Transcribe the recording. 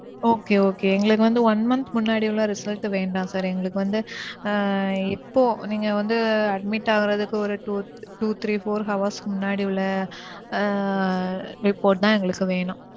Okay okay எங்களுக்கு வந்து one month முன்னாடி உள்ள result வேண்டாம் sir. எங்களுக்கு வந்து ஆ. இப்போ நீங்க வந்து admit ஆகுறதுக்கு ஓரு two two three four hours க்கு முன்னாடி உள்ள அஹ் report தான் எங்களுக்கு வேணும்.